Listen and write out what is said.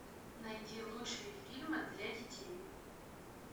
найди лучшие фильмы для детей